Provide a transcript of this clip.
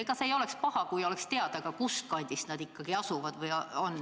Ega see ei oleks paha, kui oleks teada ka, kus kandis nad ikkagi elavad.